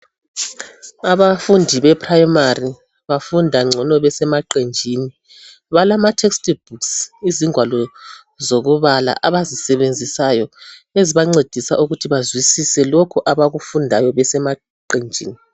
Abafundi be primary bafunda ngcono besemaqenjini. Balama textbooks izingwalo zokubala abazisebenzisayo ezibancedisa ukuthi bazwisise lokhu abakufundayo besemaqenjini